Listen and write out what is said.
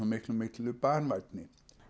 miklu miklu banvænni